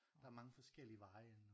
Der er mange forskellige veje ind